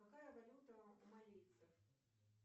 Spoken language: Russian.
какая валюта у марийцев